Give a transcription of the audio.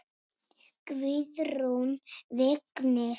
Guðrún Vignis.